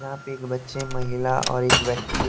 यहां पे एक बच्चेमहिला और एक व्यक्ति--